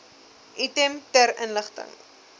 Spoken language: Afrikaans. item ter inligting